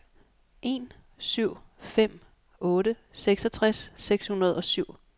en syv fem otte seksogtres seks hundrede og syv